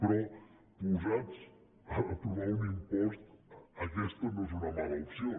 però posats a trobar un impost aquesta no és una mala opció